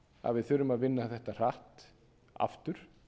að við þurfum að vinna þetta hratt aftur